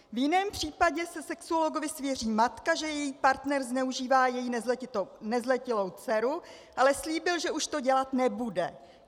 V jiném případě se sexuologovi svěří matka, že její partner zneužívá její nezletilou dceru, ale slíbil, že už to dělat nebude.